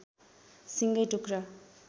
सिङ्गै टुक्रा